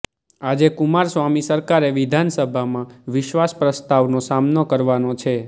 આજે કુમારસ્વામી સરકારે વિધાનસભામાં વિશ્વાસ પ્રસ્તાવનો સામનો કરવાનો છે